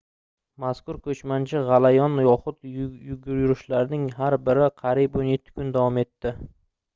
mazkur koʻchmanchi gʻalayon yoxud yurishlarning har biri qariyb 17 kun davom etadi